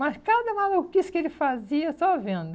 Mas cada maluquice que ele fazia, só vendo.